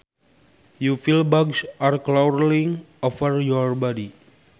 you feel bugs are crawling over your body